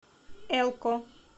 элко